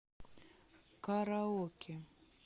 караоке